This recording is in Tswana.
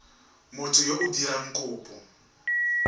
motho yo o dirang kopo